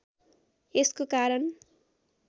यसको कारण